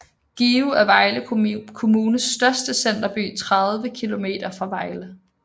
Give er Vejle Kommunes største centerby 30 km fra Vejle